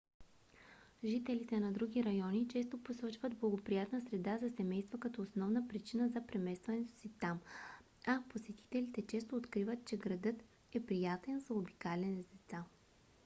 жителите на други райони често посочват благоприятна среда за семейство като основна причина за преместването си там а посетителите често откриват че градът е приятен за обикаляне с деца